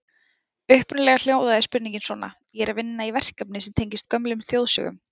Upprunalega hljóðaði spurningin svona: Ég er að vinna í verkefni sem tengist gömlum þjóðsögum.